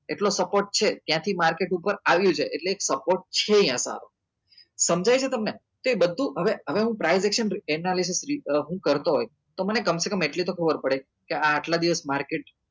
એટલો support છે ત્યાંથી market ઉપર આવ્યું છે એટલે એક support છે અહિયાં સારો સમજાઈ ગયું તમને તો એ બધું હવે હવે હું એના વિષે હું કરો હોય તો મને કમસેકમ એટલી તો ખબર પડે કે આ આટલા દિવસ market